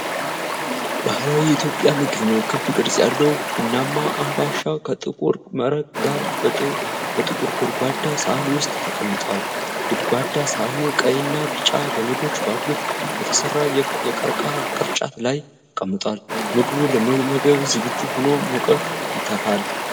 ባህላዊ የኢትዮጵያ ምግብ ነው። ክብ ቅርጽ ያለው ቡናማ አምባሻ ከጥቁር መረቅ ጋር በጥቁር ጎድጓዳ ሳህን ውስጥ ተቀምጧል። ጎድጓዳ ሳህኑ ቀይና ቢጫ ገመዶች ባሉት በተሠራ የቀርከሃ ቅርጫት ላይ ተቀምጧል። ምግቡ ለመመገብ ዝግጁ ሆኖ ሙቀት ይተፋል።